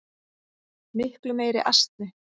Miklu meiri asni.